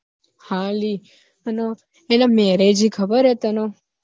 હા લી અને એના marriage હી ખબર હે તન?